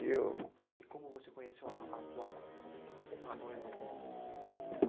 E eu... E como você conheceu a a atual, a noiva atual?